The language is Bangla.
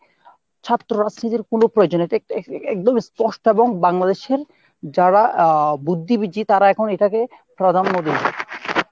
ছাত্র রাজনীতির কোনো প্রয়োজনীয়তা এ~ একদম স্পষ্ট এবং বাংলাদেশের যারা আহ বুদ্ধিবীজী তারা এখন এটাকে প্রাধান্য দিবে।